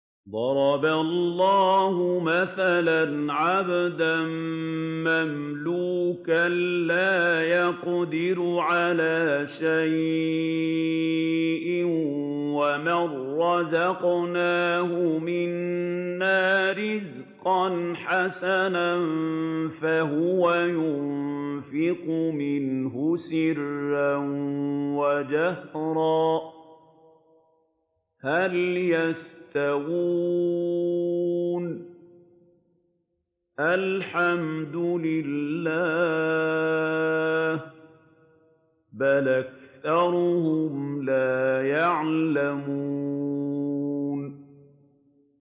۞ ضَرَبَ اللَّهُ مَثَلًا عَبْدًا مَّمْلُوكًا لَّا يَقْدِرُ عَلَىٰ شَيْءٍ وَمَن رَّزَقْنَاهُ مِنَّا رِزْقًا حَسَنًا فَهُوَ يُنفِقُ مِنْهُ سِرًّا وَجَهْرًا ۖ هَلْ يَسْتَوُونَ ۚ الْحَمْدُ لِلَّهِ ۚ بَلْ أَكْثَرُهُمْ لَا يَعْلَمُونَ